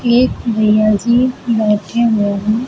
एक भैया जी बैठे हुए हैं।